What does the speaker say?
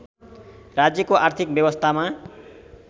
राज्यको आर्थिक व्यवस्थामा